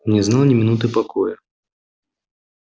не знал ни минуты покоя